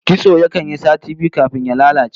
Kitso yakan yi sati biyu kafin ya lalace